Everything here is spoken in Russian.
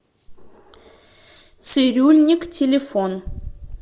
цирюльникъ телефон